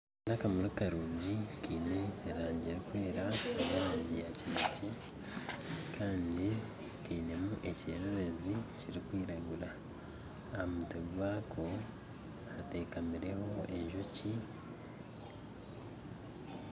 Nindeeba akamuri karungi kiine erangi erikwera nerangi yakinekye Kandi kaineme ekyererezi kirikwiragura Kandi ahamutwe gwako hateekamireho enjoki